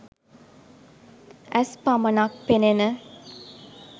ඇස් පමණක් පෙනෙන